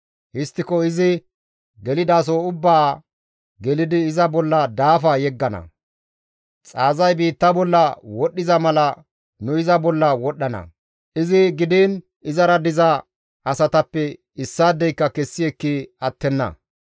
Histtiko izi gelidaso ubbaa gelidi iza bolla daafa yeggana; xaazay biitta bolla wodhdhiza mala nu iza bolla wodhdhana; iza gidiin izara diza asatappe issaadeyka kessi ekki attenna.